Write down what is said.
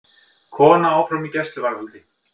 Kona áfram í gæsluvarðhaldi